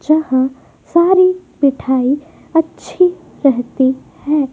जहां सारी मिठाई अच्छी रहती है।